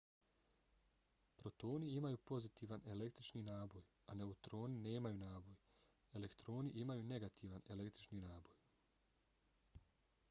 protoni imaju pozitivan električni naboj a neutroni nemaju naboj. elektroni imaju negativan električni naboj